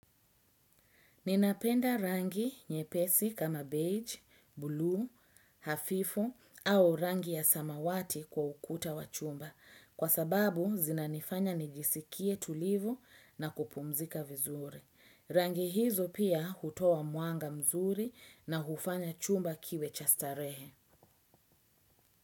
Ninapenda rangi nyepesi kama beige, bluu hafifu au rangi ya samawati kwa ukuta wa chumba kwa sababu zinanifanya nijisikie tulivu na kupumzika vizuri. Rangi hizo pia hutoa mwanga mzuri na hufanya chumba kiwe cha starehe.